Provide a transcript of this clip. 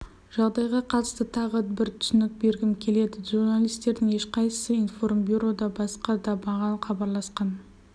жағдайға қатысты тағы бір түсінік бергім келеді журналистердің ешқайсысы информбюро да басқа да маған хабарласқан